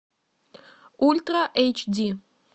ультра эйч ди